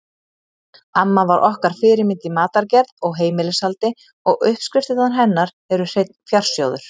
Amma var okkar fyrirmynd í matargerð og heimilishaldi og uppskriftirnar hennar eru hreinn fjársjóður.